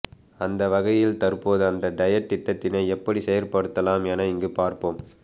அந்தவகையில் தற்போது அந்த டயட் திட்டத்தினை எப்படி செயற்படுத்தலாம் என இங்கு பார்ப்போம்